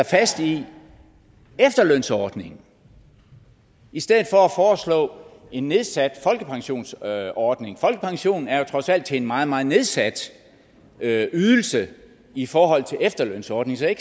fast i efterlønsordningen i stedet for at en nedsat folkepensionsordning folkepensionen er jo trods alt en meget meget nedsat ydelse i forhold til efterlønsordningen så jeg